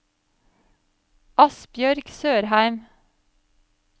Asbjørg Sørheim